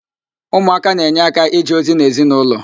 Ụmụaka na-enye áká ije ozi n'ezinaụlọ